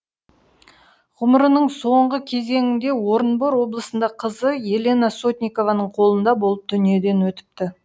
ғұмырының соңғы кезеңінде орынбор облысында қызы елена сотникованың қолында болып дүниеден өтіпті